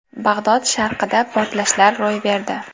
Bag‘dod sharqida portlashlar ro‘y berdi.